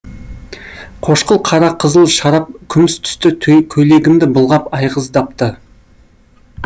қошқыл қара қызыл шарап күміс түсті көйлегімді былғап айғыздапты